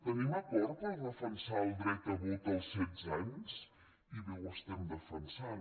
tenim acord per defensar el dret a vot als setze anys i bé ho estem defensant